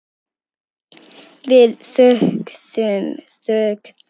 Við þögðum.